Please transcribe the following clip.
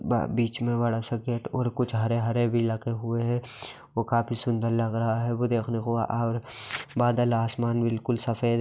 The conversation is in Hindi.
ब बीच मे बड़ा सा गेट और कुछ हरे-हरे भी लगे हुए है। वो काफी सुंदर लग रहा है वो देखने को और बादल आसमान बिल्कुल सफेद--